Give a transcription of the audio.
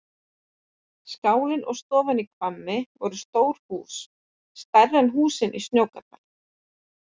Skálinn og stofan í Hvammi voru stór hús, stærri en húsin í Snóksdal.